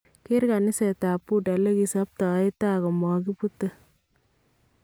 Keer kaniseetab bhuda lekisibtaetaa komakibuute